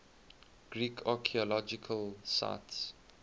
greek archaeological sites